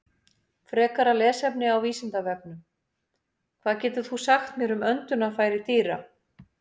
Frekara lesefni á Vísindavefnum: Hvað getur þú sagt mér um öndunarfæri dýra?